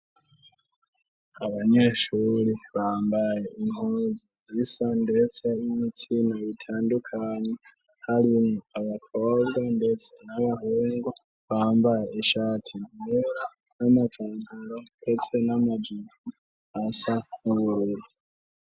Abanyeshuri bambaye intunzu zisa ndetse n’ibitsina bitandukanye harimwo abakobwa ndetse n'abahungu bambaye ishati zime n'amavangaro ndetse n'amagivu asa n'ububero.